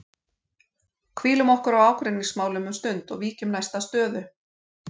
Hvílum okkur á ágreiningsmálum um stund og víkjum næst að stöðu